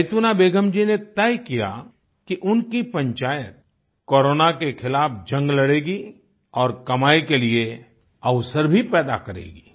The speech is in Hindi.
जैतूना बेगम जी ने तय किया कि उनकी पंचायत कोरोना के खिलाफ जंग लड़ेगी और कमाई के लिए अवसर भी पैदा करेगी